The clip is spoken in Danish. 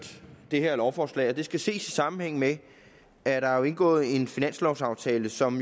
det her lovforslag og det skal ses i sammenhæng med at der er indgået en finanslovaftale som